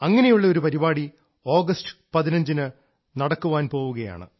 അങ്ങനെയുള്ള ഒരു പരിപാടി ആഗസ്റ്റ് 15 ന് നടക്കാൻ പോവുകയാണ്